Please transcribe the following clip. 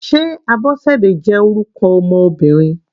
Sé Abosede jẹ́ orúkọ ọmọ Obìnrin?